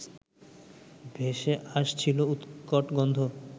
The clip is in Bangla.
ভেসে আসছিল উৎকট গন্ধ